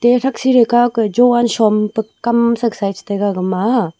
e thaksih theikau kah jovan shompe kam saksa ye chitaiga gama a.